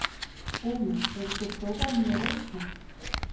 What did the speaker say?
Húmi, hefur þú prófað nýja leikinn?